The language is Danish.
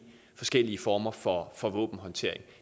forskellige former for for våbenhåndtering